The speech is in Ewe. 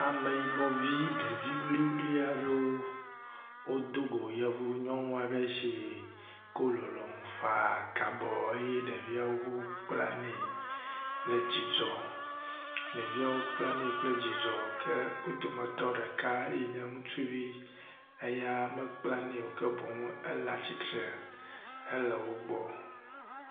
Ameyibɔ vi ɖevi wuliwuli aɖewo wodo go yevu nyɔŋua ɖe si kɔ lɔlɔ̃ŋu fãa ka bɔ eye ɖeviawo kpla nɛ kple dzidzɔ, ɖeviawo kpla nɛ kple dzidzɔ, ke wo dometɔ ɖeka yi nye ŋutsuvi eya mekpla nɛ o, ke boŋ ela tsitre hele wo gbɔ.